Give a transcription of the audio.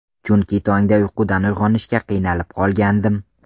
Chunki tongda uyqudan uyg‘onishga qiynalib qolgandim.